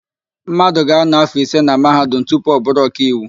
Mmadụ ga-ánọ̀ áfọ̀ ise na Mahadum tupu ọ bụrụ ọkaiwu.